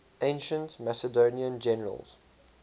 ancient macedonian generals